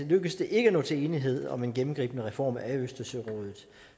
lykkes det ikke at nå til enighed om en gennemgribende reform af østersørådet